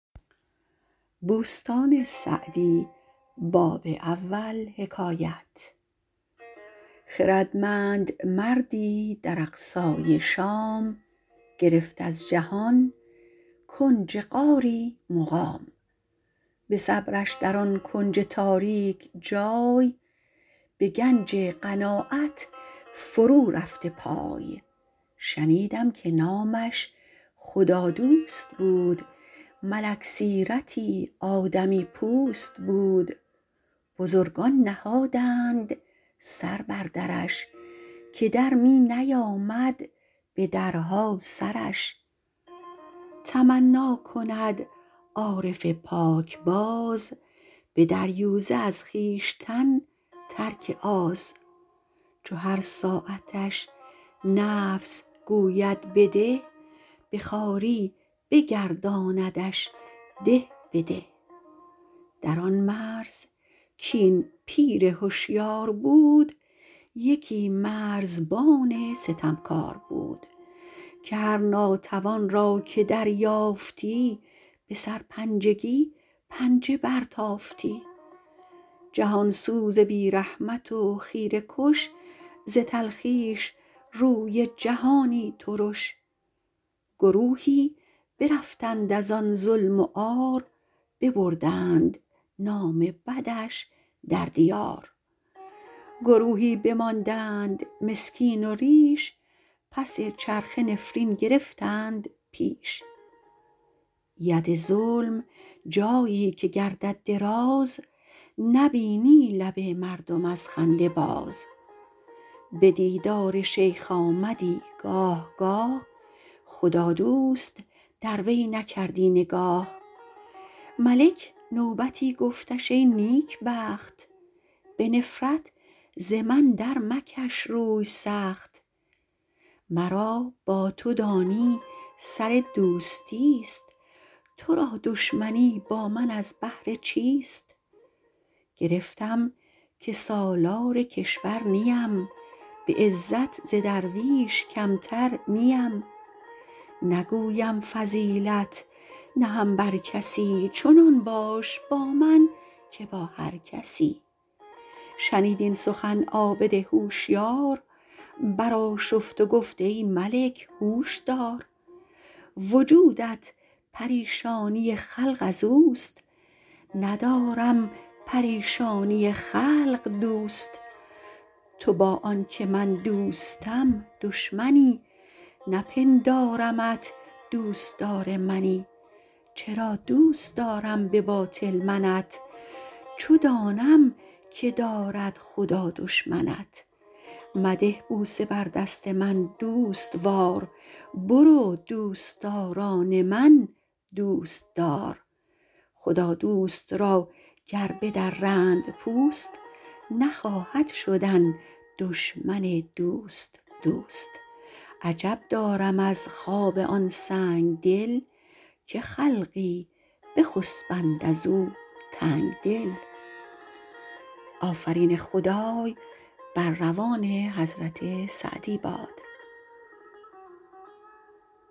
خردمند مردی در اقصای شام گرفت از جهان کنج غاری مقام به صبرش در آن کنج تاریک جای به گنج قناعت فرو رفته پای شنیدم که نامش خدادوست بود ملک سیرتی آدمی پوست بود بزرگان نهادند سر بر درش که در می نیامد به درها سرش تمنا کند عارف پاکباز به دریوزه از خویشتن ترک آز چو هر ساعتش نفس گوید بده به خواری بگرداندش ده به ده در آن مرز کاین پیر هشیار بود یکی مرزبان ستمکار بود که هر ناتوان را که دریافتی به سرپنجگی پنجه برتافتی جهان سوز و بی رحمت و خیره کش ز تلخیش روی جهانی ترش گروهی برفتند از آن ظلم و عار ببردند نام بدش در دیار گروهی بماندند مسکین و ریش پس چرخه نفرین گرفتند پیش ید ظلم جایی که گردد دراز نبینی لب مردم از خنده باز به دیدار شیخ آمدی گاه گاه خدادوست در وی نکردی نگاه ملک نوبتی گفتش ای نیکبخت به نفرت ز من در مکش روی سخت مرا با تو دانی سر دوستی است تو را دشمنی با من از بهر چیست گرفتم که سالار کشور نیم به عزت ز درویش کمتر نیم نگویم فضیلت نهم بر کسی چنان باش با من که با هر کسی شنید این سخن عابد هوشیار بر آشفت و گفت ای ملک هوش دار وجودت پریشانی خلق از اوست ندارم پریشانی خلق دوست تو با آن که من دوستم دشمنی نپندارمت دوستدار منی چرا دوست دارم به باطل منت چو دانم که دارد خدا دشمنت مده بوسه بر دست من دوستوار برو دوستداران من دوست دار خدادوست را گر بدرند پوست نخواهد شدن دشمن دوست دوست عجب دارم از خواب آن سنگدل که خلقی بخسبند از او تنگدل